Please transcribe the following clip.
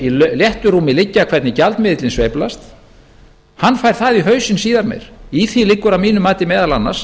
í léttu rúmi liggja hvernig gjaldmiðillinn sveiflast fær það í hausinn síðar meir í því liggja að mínu mati meðal annars